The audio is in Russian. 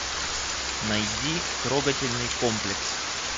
найди трогательный комплекс